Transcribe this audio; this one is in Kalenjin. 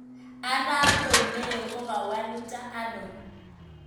Arap Romeo ko kawaluta ano?